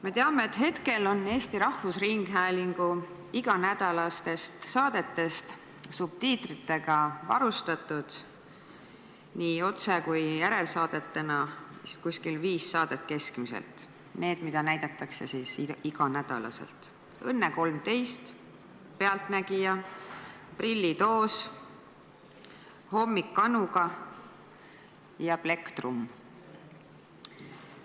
Me teame, et hetkel on Eesti Rahvusringhäälingu iganädalastest saadetest subtiitritega varustatud vist viis saadet, nendest, mida näidatakse iga nädal: "Õnne 13", "Pealtnägija", "Prillitoos", "Hommik Anuga" ja "Plekktrumm".